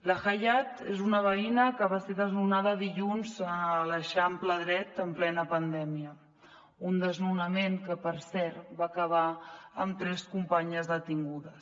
la hayad és una veïna que va ser desnonada dilluns a l’eixample dret en plena pandèmia un desnonament que per cert va acabar amb tres companyes detingudes